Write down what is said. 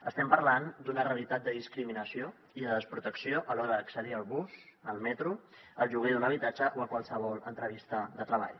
estem parlant d’una realitat de discriminació i de desprotecció a l’hora d’accedir al bus al metro al lloguer d’un habitatge o a qualsevol entrevista de treball